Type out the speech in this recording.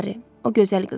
O gözəl qızdır.